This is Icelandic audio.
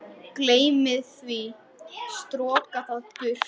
Þetta var eins og kynlíf.